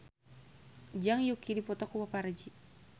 Zhang Yuqi dipoto ku paparazi